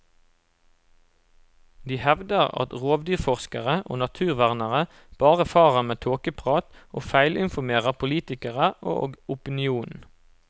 De hevder at rovdyrforskere og naturvernere bare farer med tåkeprat, og feilinformerer politikere og opinionen.